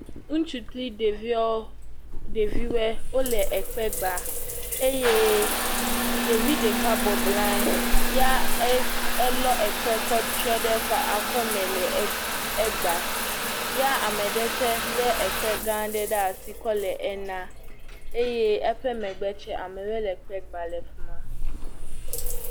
Ŋutsu kple ɖeviɔ, ɖeviwɔe wole ekpɛ gbaa eye ɖevi ɖeka bɔblɔ anyi. Ya e, elɔ ekpe kɔtsyɔ ɖe eƒe akɔme le egbaa. Ya ame ɖe tsɛ lé ekpe gã aɖe ɖe asi kɔ le ena. Eye eƒe megbe tsɛ ame ɖe le ekpe gbaa le fi ma